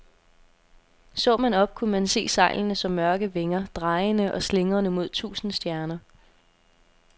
Så man op, kunne man se sejlene som mørke vinger, drejende og slingrende mod tusinde stjerner.